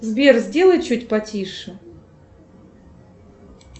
сбер сделай чуть потише